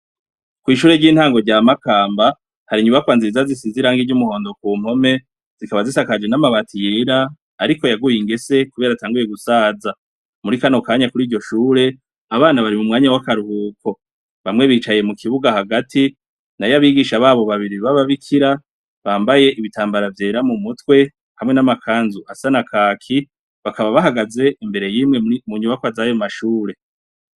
Kw' ishure ry'intango rya Makamba, hari inyubakwa nziza zisize irangi ry' umuhondo ku mpome, zikaba zisakaje n' amabati yera, ariko yagiye ingese kubera atanguye gusaza. Muri kano kanya kuri iryo shure, abana bari mu mwanya w' akaruhuko. Bamwe bicaye mu kibuga hagati, nayo abigisha babo babiri b' Ababikira, bambaye ibitambara vyera mu mutwe, hamwe n' amakanzu asa na kaki, bakaba bahagaze imbere y'imwe mu nyubakwa zayo mashure.